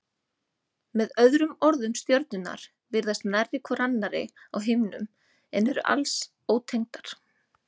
Með öðrum orðum stjörnurnar virðast nærri hvor annarri á himninum en eru alls ótengdar.